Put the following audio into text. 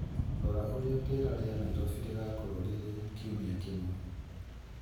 Rora ũrĩa rĩera rĩa Nairobi rĩgaakorũo rĩrĩ kiumia kĩmwe